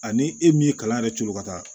Ani e min ye kalan yɛrɛ turu ka taa